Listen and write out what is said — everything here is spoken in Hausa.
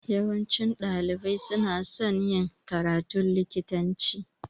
Yawancin ɗalibai suna son yin karatun likitanci